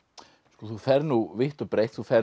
þú ferð vítt og breitt þú ferð